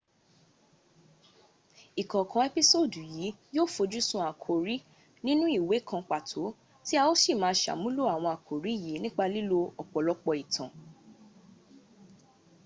ìkọ̀ọ̀kan ẹ́písòòdù yìí yó ò fojúsun àkórí nínú ìwé kan pàtó tí a ó sì má a sàmúnlò àwọn àkórí yìí nípa lílo ọ̀pọ̀lọpọ̀ ìtàn